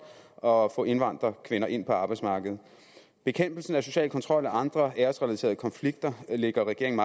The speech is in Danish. og at få indvandrerkvinder ind på arbejdsmarkedet bekæmpelsen af social kontrol og andre æresrelaterede konflikter ligger regeringen